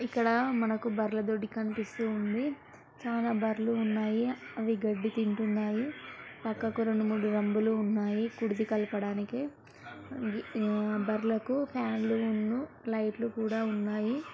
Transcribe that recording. ఇక్కడ మనకి బర్ల దొడ్డి కనిపిస్తుంది చాలా బర్లు ఉన్నాయి అవి గడ్డి తింటున్నాయి పక్కకి రెండు మూడు డ్రమ్బ్ ఉన్నాయి కుడితి కలపడానికి బర్లకి ఫ్యాన్ లు లైట్ లు కూడా ఉన్నాయి.